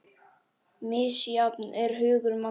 Misjafn er hugur manna